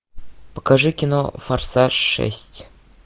покажи кино форсаж шесть